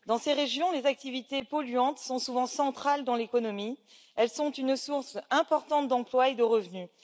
Dans ces régions, les activités polluantes sont souvent centrales dans l'économie, elles sont une source importante d'emplois et de revenus.